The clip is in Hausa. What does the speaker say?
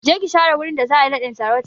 Je ki share wurin da za'a yi naɗin sarautan!